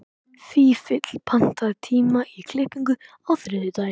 Fífill, pantaðu tíma í klippingu á þriðjudaginn.